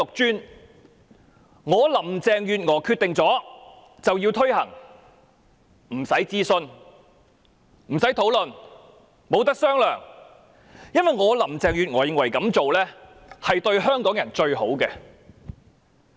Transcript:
只要是她林鄭月娥決定了的便要推行，不用諮詢和討論，亦不容磋商，因為她認為這樣做才對香港人最好。